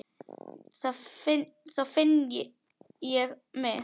Þá finn ég mig.